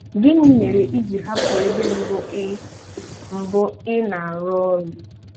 Gịnị mere i ji hapụ ebe mbụ ị mbụ ị na-arụ ọrụ?